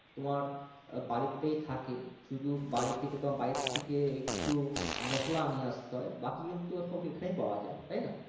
তোমার বাড়িতেই থাকে শুধু বাড়ী থেকে তোমার বাইরে থেকে কিছু মশলা নিয়ে আসতে হয় বাকি কিন্তু সব এখানেই পাওয়া যাই তাইনা